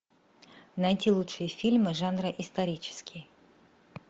найти лучшие фильмы жанра исторический